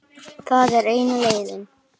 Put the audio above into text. Það er eina leiðin.